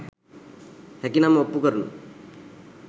හැකිනම් ඔප්පු කරනු